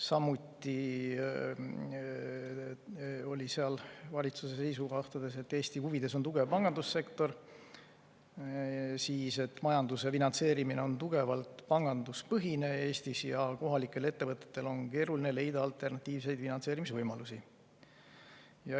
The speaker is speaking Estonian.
Samuti oli valitsuse seisukohtades öeldud, et Eesti huvides on tugev pangandussektor, majanduse finantseerimine on Eestis tugevalt panganduspõhine ja kohalikel ettevõtetel on keeruline leida alternatiivseid finantseerimisvõimalusi.